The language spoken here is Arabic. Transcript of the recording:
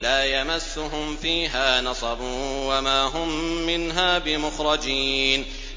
لَا يَمَسُّهُمْ فِيهَا نَصَبٌ وَمَا هُم مِّنْهَا بِمُخْرَجِينَ